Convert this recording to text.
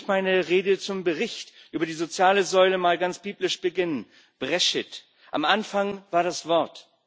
Lassen Sie mich meine Rede zum Bericht über die soziale Säule mal ganz biblisch beginnen Bereschit am Anfang war das Wort.